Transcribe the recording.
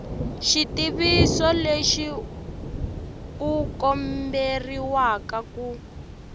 xitiviso lexi u komberiwa ku